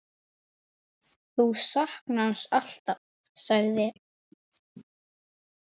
Þú saknar hans alltaf, sagði